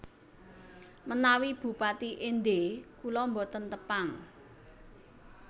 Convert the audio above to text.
Menawi bupati Ende kula mboten Tepang